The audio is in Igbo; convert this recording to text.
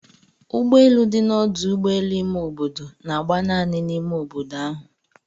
Ụgbọelụ dị na ọdu ụgbọelụ ime obodo na-agba naanị n'ime obodo ahụ.